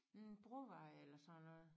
Hm Brovej eller sådan noget